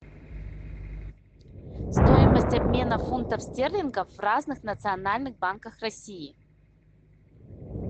стоимость обмена фунтов стерлингов в разных национальных банках россии